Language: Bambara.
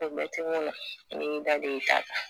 O bɛɛtu ɲɛna i b'i daden i ta kan